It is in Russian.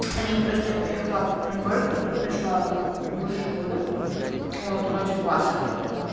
а нет просто я поехала в город в котором я жила больше года вот ради класса